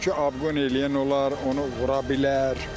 Çünki abqon eləyən olar, vura bilər.